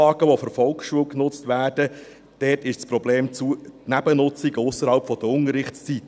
Bei den Anlagen, die von der Volksschule genutzt werden, ist das Problem die Nebennutzung ausserhalb der Unterrichtszeiten.